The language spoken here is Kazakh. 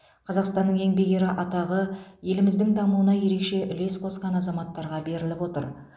қазақстанның еңбек ері атағы еліміздің дамуына ерекше үлес қосқан азаматтарға беріліп отыр